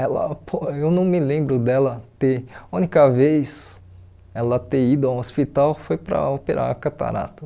Ela po eu não me lembro dela ter, a única vez ela ter ido ao hospital foi para operar a catarata.